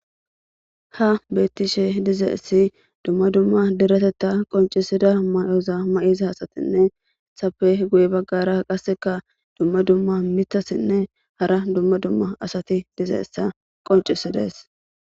"Ha beetishe dizaysi dumma dumma dereteta qonccisiza mayoza mayida asatinne ezetappe guye baggara qassika dumma dumma miththatinne hara dumma dumma asati dizaysa qonccisides."